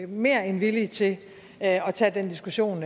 mere end villige til at tage den diskussion